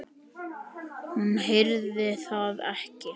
Hún heyrði það ekki.